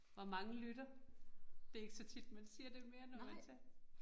Hvor mange lytter? Det ikke så tit man siger det mere, når man taler